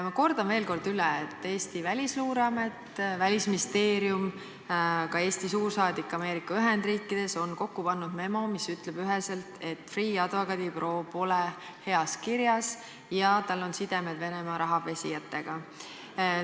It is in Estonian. Ma kordan veel kord üle, et Eesti Välisluureamet, Välisministeerium, ka Eesti suursaadik Ameerika Ühendriikides on kokku pannud memo, mis ütleb üheselt, et Freeh' advokaadibüroo pole heas kirjas ja tal on sidemed Venemaa rahapesijatega.